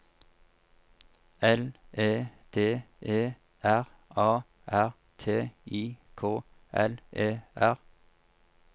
L E D E R A R T I K L E R